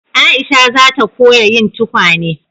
Aisha za ta koya yin tukwane